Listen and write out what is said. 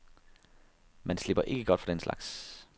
Man slipper ikke godt fra den slags.